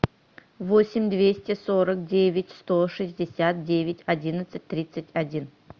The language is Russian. восемь двести сорок девять сто шестьдесят девять одиннадцать тридцать один